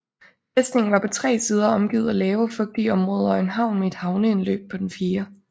Fæstningen var på tre sider omgivet af lave og fugtige områder og en havn med et havneindløb på den fjerde